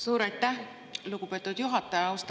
Suur aitäh, lugupeetud juhataja!